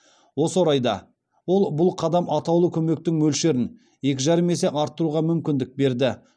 осы орайда ол бұл қадам атаулы көмектің мөлшерін екі жарым есе арттыруға мүмкіндік берді